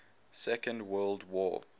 second world war